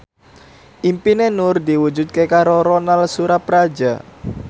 impine Nur diwujudke karo Ronal Surapradja